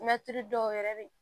mɛtiri dɔw yɛrɛ be ye